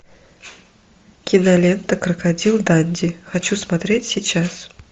кинолента крокодил данди хочу смотреть сейчас